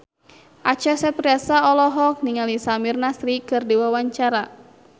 Acha Septriasa olohok ningali Samir Nasri keur diwawancara